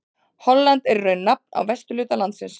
Holland er í raun nafn á vesturhluta landsins.